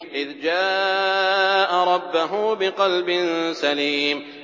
إِذْ جَاءَ رَبَّهُ بِقَلْبٍ سَلِيمٍ